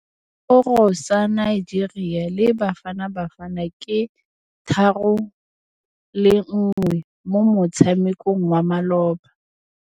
Sekôrô sa Nigeria le Bafanabafana ke 3-1 mo motshamekong wa malôba.